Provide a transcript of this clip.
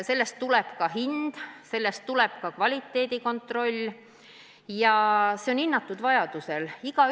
Sellest tuleb ka hind, sellest tuleb ka kvaliteedi kontroll, nii et kõik on vajadusel hinnatud.